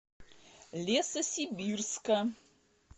лесосибирска